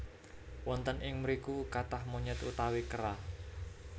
Wonten ing mriku kathah monyet utawi kera